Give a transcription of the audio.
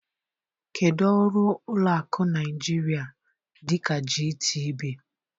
Kedu ọrụ ụlọ akụ Naijiria dịka GTB?